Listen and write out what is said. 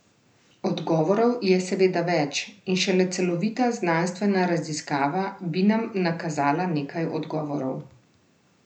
Odgovorov je seveda več in šele celovita znanstvena raziskava bi nam nakazala nekaj odgovorov.